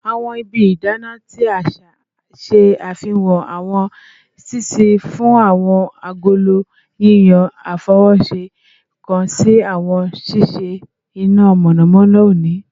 Awọn ibi idana ti aṣa ṣe ifihan awọn ṣiṣii fun awọn agolo, yiyan afọwọṣe kan si awọn ṣiṣi ina mọnamọna oni